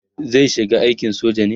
zai shiga aikin soja ne?